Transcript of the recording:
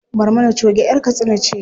Barmana choge ƴar katsina ce.